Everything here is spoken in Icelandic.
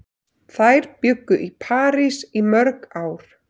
Þær bjuggu í París í mörg ár.